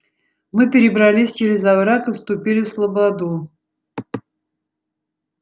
мы перебрались через овраг и вступили в слободу